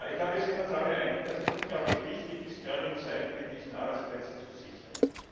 Ich glaube, wir sind uns alle einig, dass es unglaublich wichtig ist, gerade in Zeiten wie diesen Arbeitsplätze zu sichern.